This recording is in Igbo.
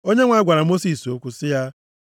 Onyenwe anyị gwara Mosis okwu sị ya,